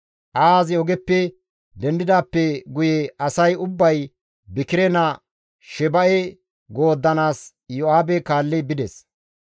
Ahazi ogeppe dendidaappe guye asay ubbay Bikire naa Sheba7e gooddanaas Iyo7aabe kaalli bides.